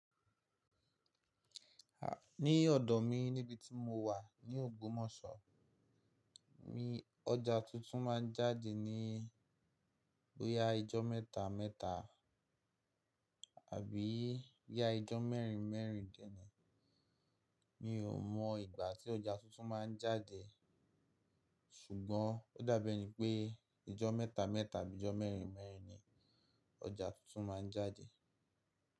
Ní ọ̀dọ̀ mi níbití mo wà ní Ògbómọ̀ṣọ́, mi, ọjà tuntun máa ń jáde ní bóyá ijọ́ mẹ́ta mẹ́ta àbí yá ijọ́ mẹ́rin mẹ́rin dè ni. Mi ò mọ ìgbà tí ọjà tuntun máa ń jáde, ṣùgbọ́n ó dàbẹ́ ni pé ijọ́ mẹ́ta mẹ́ta àbí ijọ́ mẹ́rin mẹ́rin ni ọjà tuntun máa ń jáde.